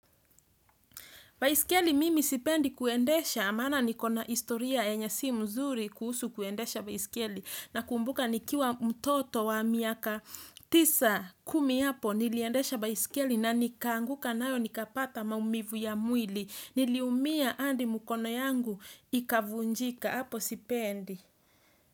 Baiskeli mimi sipendi kuendesha maana nikona historia yenye si mzuri kuhusu kuendesha baiskeli tisa kumi hapo niliendesha baiskeli na nikaanguka nayo nikapata maumivu ya mwilli. Niliumia hadi mkono yangu ikavunjika hapo sipendi.